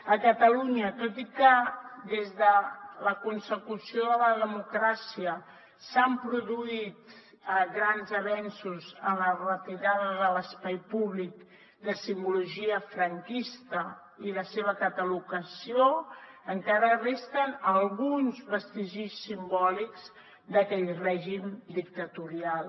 a catalunya tot i que des de la consecució de la democràcia s’han produït grans avenços en la retirada de l’espai públic de simbologia franquista i la seva catalogació encara resten alguns vestigis simbòlics d’aquell règim dictatorial